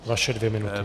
Vaše dvě minuty.